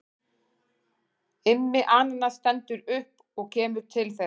Immi ananas stendur upp og kemur til þeirra.